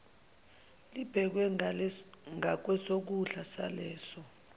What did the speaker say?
libekwe ngakwesokudla saleso